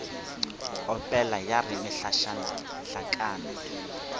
opela ya re mehlašana hlakana